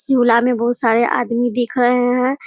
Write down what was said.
झूला में बहुत सारे आदमी दिख रहें हैं।